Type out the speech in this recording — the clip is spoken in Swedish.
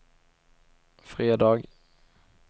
fredag